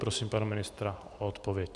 Prosím pana ministra o odpověď.